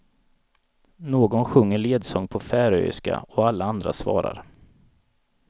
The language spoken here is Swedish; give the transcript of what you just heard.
Någon sjunger ledsång på färöiska och alla andra svarar.